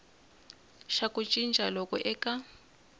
xa ku cinca loku eka